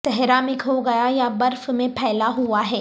صحرا میں کھو گیا یا برف میں پھیلا ہوا ہے